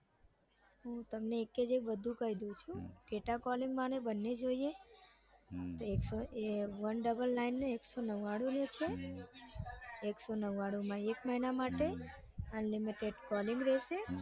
હું તમને એક એક બધું કઈ દઉં છું કે data calling માં ને બંને જોઈએ હમ તો એકસો oneninenine ને એકસો નવ્વાણું રેસે એકસો નવ્વાણું માં એક મહિના માટે unlimited calling રેસે